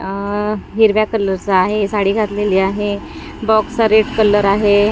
अह हिरव्या कलरचा आहे साडी घातलेली आहे बॉक्स चा रेड कलर आहे.